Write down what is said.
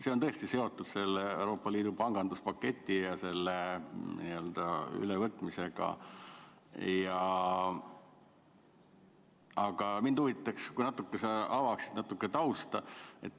See on tõesti seotud Euroopa Liidu panganduspaketi ja selle n-ö ülevõtmisega, aga mind huvitaks, kui sa avaksid natuke tausta.